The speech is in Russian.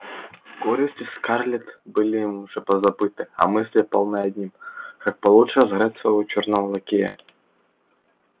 горести скарлетт были им уже позабыты а мысли полны одним как получше разыграть своего чёрного лакея